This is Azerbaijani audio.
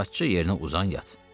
Rahatca yerinə uzan, yat.